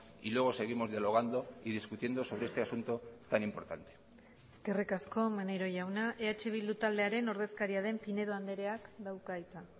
y luego seguimos dialogando y discutiendo sobre este asunto tan importante eskerrik asko maneiro jauna eh bildu taldearen ordezkaria den pinedo andreak dauka hitza